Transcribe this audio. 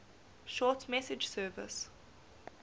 short message service